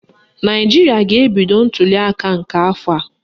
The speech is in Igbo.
Naijiria ga-ebido ntuliaka nke afọ a.